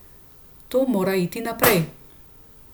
To mora iti naprej.